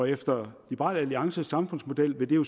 efter liberal alliances samfundsmodel vil det jo